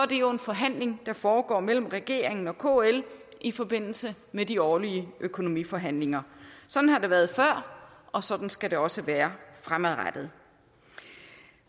det jo en forhandling der foregår mellem regeringen og kl i forbindelse med de årlige økonomiforhandlinger sådan har det været før og sådan skal det også være fremadrettet